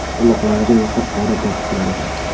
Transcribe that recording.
Quloqlarida esa qora popuklari bor.